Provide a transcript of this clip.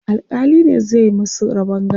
alkali ne zai masu rabon gado